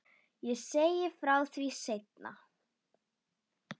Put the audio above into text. Ég segi frá því seinna.